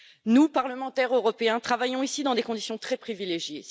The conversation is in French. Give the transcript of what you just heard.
Nous, parlementaires européens, travaillons ici dans des conditions très privilégiées.